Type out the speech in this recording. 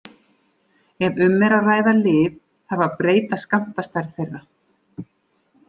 Ef um er að ræða lyf, þarf að breyta skammtastærð þeirra.